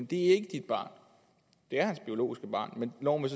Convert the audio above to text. det er ikke dit barn det er hans biologiske barn men loven